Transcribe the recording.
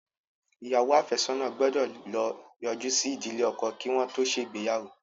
Ìyàwó afesona gbó ló yoju sí ìdílé ọkọ kí wọn tó ṣe ìgbéyàwó.